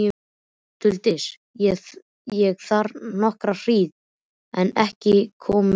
Duldist ég þar nokkra hríð en ekki komu börnin.